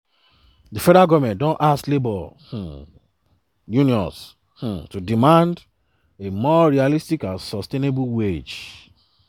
di federal government don ask labour um unions um to demand a more realistic and sustainable wage.